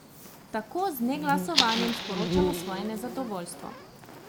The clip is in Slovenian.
Tako z neglasovanjem sporočamo svoje nezadovoljstvo.